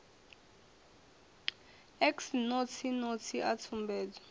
x notsi notsi a tsumbedzo